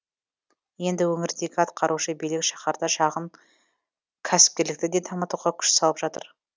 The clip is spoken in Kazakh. енді өңірдегі атқарушы билік шаһарда шағын кәсіпкерлікті де дамытуға күш салып жатыр